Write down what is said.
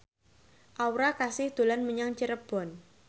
Aura Kasih dolan menyang Cirebon